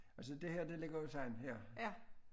Altså det her det ligger jo sådan her